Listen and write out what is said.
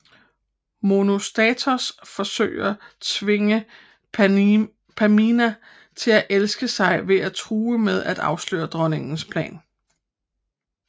Monostatos forsøger tvinge Pamina til at elske sig ved at true med at afsløre dronningens plan